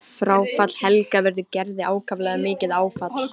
Fráfall Helga verður Gerði ákaflega mikið áfall.